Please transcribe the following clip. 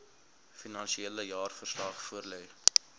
finansiële jaarverslag voorlê